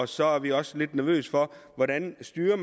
så er vi også lidt nervøse for hvordan man styrer